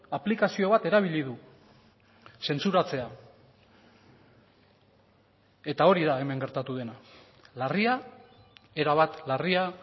aplikazio bat erabili du zentsuratzea eta hori da hemen gertatu dena larria erabat larria